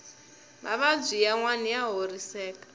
mavabyi yanwani ya horiseka